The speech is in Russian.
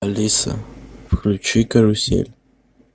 алиса включи карусель